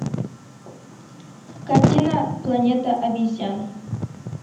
картина планета обезьян